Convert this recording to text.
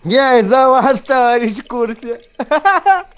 я постараюсь в курсе